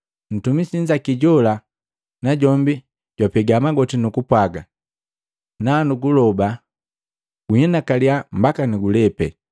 Ntumisi nnzaki jola najombi jwapega magoti nukupwaga, nu kunndoba, ‘Guinakaliya mbaka nugulepe.’